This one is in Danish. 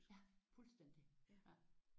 Ja fuldstændig